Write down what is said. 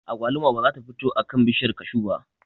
Agwaluma ba za ta fito a kan bishiyar kashu ba